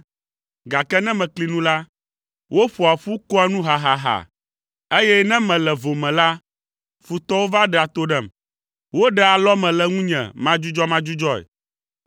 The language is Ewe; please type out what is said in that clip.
Gake ne mekli nu la, woƒoa ƒu koa nu hahaha, eye ne mele vo me la, futɔwo va ɖea to ɖem. Woɖea alɔme le ŋunye madzudzɔmadzudzɔe.